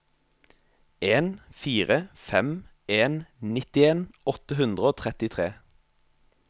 en fire fem en nittien åtte hundre og trettitre